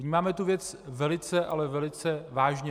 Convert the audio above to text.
Vnímáme tu věc velice, ale velice vážně.